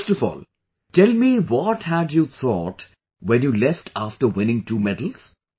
First of all, tell me what had you thought when you left after winning two medals